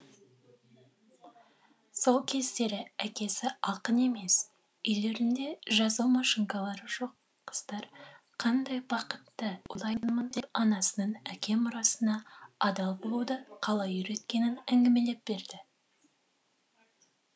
сол кездері әкесі ақын емес үйлерінде жазу машинкалары жоқ қыздар қандай бақытты деп анасының әке мұрасына адалболуды қалай үйреткенін әңгімелеп берді